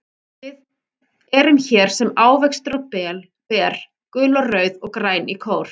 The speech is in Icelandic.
Við erum hér sem ávextir og ber, gul og rauð og græn í kór.